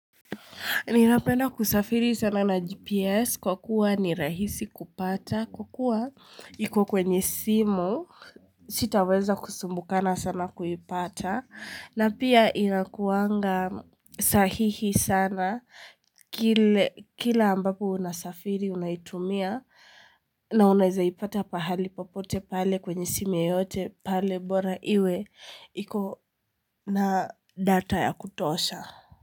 Ninapena kusafiri sana na GPS kwa kuwa ni rahisi kupata kwa kuwa iko kwenye simu sitaweza kusumbukana sana kuipata na pia inakuwanga sahihi sana kila ambapo unasafiri unaitumia na unaweza ipata pahali popote pale kwenye simu yeyote pale bora iwe iko na data ya kutosha.